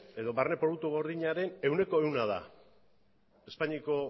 edo barne produktu gordinaren ehuneko ehun da espainiako